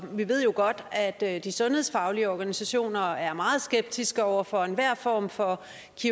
vi ved jo godt at at de sundhedsfaglige organisationer er meget skeptiske over for enhver form for